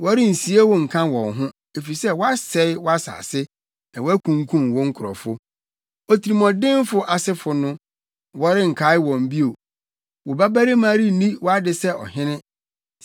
Wɔrensie wo nka wɔn ho, efisɛ woasɛe wʼasase na wakunkum wo nkurɔfo. Otirimɔdenfo asefo no wɔrenkae wɔn bio. Wo babarima renni wʼade sɛ ɔhene.